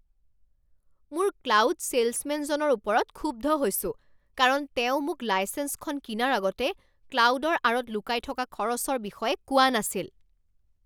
মোৰ ক্লাউড ছেইলছমেনজনৰ ওপৰত ক্ষুব্ধ হৈছো কাৰণ তেওঁ মোক লাইচেঞ্চখন কিনাৰ আগতে ক্লাউডৰ আঁৰত লুকাই থকা খৰচৰ বিষয়ে কোৱা নাছিল।